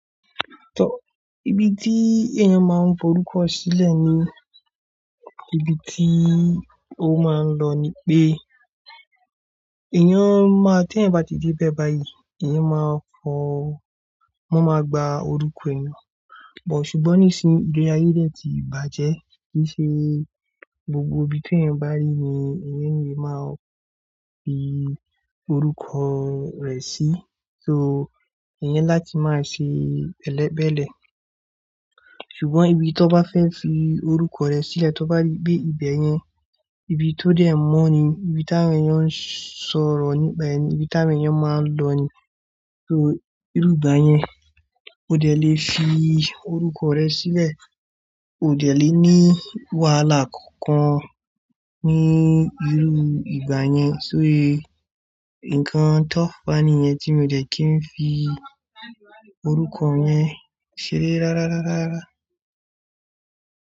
Ibi tí èèyàn máa ń fi orúkọ sílẹ̀ ni ibi tí ó máa ń lọ ni pé, èèyàn máa tí ẹ̀yin bá ti dé bẹ́ẹ̀ báyìí, èèyàn máa fọ̀, wọ́n máa gba orúkọ èèyàn. Òṣùgbọ́n nísìí, ìgbà ayé de ti bàjẹ́, kí í ṣe gbogbo ibi tí èèyàn bá rí ni èèyàn lè máa fi orúkọ rẹ̀ sí. So èèyàn ni láti máa ṣe bẹ́lẹ̀bẹ́lẹ̀. Ṣùgbọ́n ibi tí ọ bá fẹ́ fi orúkọ rẹ sílẹ̀, tí o bá rí bí ibẹ̀ yẹn, ibi tó dẹ́ mọ́ ni, ibi tí àwọn èèyàn ń sọ̀rọ̀ níbẹ̀ ni, ibi tí àwọn èèyàn máa ń lọ ni. So irú ìgbà yẹn, o dẹ́ lè fi orúkọ rẹ síbẹ̀, o dẹ́ lè ní wàhálà kankan ní irú ìgbà yẹn. So ó yẹ, ǹkan tó fà níyẹn tí mo dẹ́ kí n fi orúkọ yẹn ṣeré rárá, rárá, rárá.